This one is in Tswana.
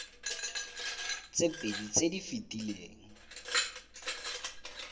tse pedi tse di fetileng